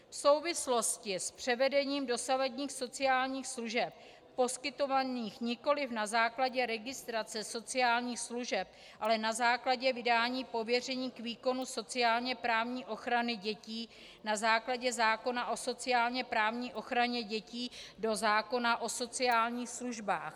V souvislosti s převedením dosavadních sociálních služeb poskytovaných nikoliv na základě registrace sociálních služeb, ale na základě vydání pověření k výkonu sociálně-právní ochrany dětí, na základě zákona o sociálně-právní ochraně dětí do zákona o sociálních službách.